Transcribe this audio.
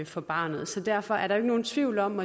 for barnet så derfor er der ikke nogen tvivl om